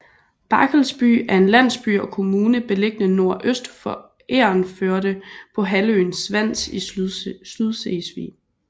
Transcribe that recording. Barkelsby er en landsby og kommune beliggende nordøst for Egernførde på halvøen Svans i Sydslesvig